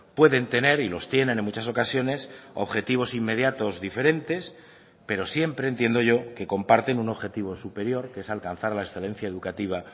pueden tener y los tienen en muchas ocasiones objetivos inmediatos diferentes pero siempre entiendo yo que comparten un objetivo superior que es alcanzar la excelencia educativa